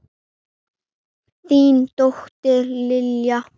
Þín dóttir, Lilja.